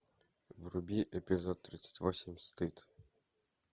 вруби эпизод тридцать восемь стыд